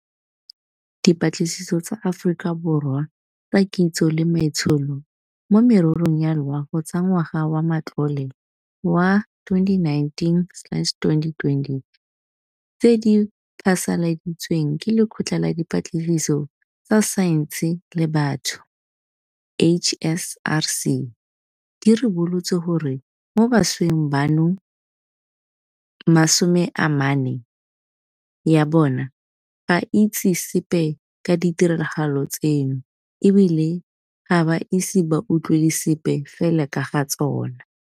Dipatlisiso tsa Aforika Borwa tsa Kitso le Maitsholo mo Mererong ya Loago tsa ngwaga wa matlole wa 2019-2020 tse di phasaladitsweng ke Lekgotla la Dipatlisiso tsa Saense le Batho, HSRC, di ribolotse gore mo bašweng bano, 40 ya bona ga e itse sepe ka ditiragalo tseno e bile ga ba ise ba utlwele sepe fela ka ga tsona.